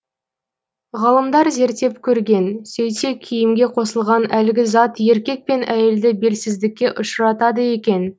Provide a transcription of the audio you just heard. ғалымдар зерттеп көрген сөйтсе киімге қосылған әлгі зат еркек пен әйелді белсіздікке ұшыратады екен